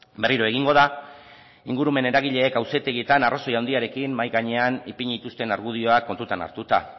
berriro egingo da ingurumen eragileek auzitegietan arrazoi handiarekin mahai gainean ipini dituzten argudioak kontutan hartuta